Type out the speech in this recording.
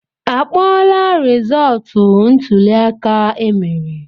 Akpọọla rizọọtụ ntụliaka emere?